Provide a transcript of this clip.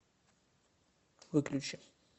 выключи